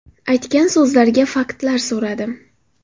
Aytgan so‘zlariga faktlar so‘radim.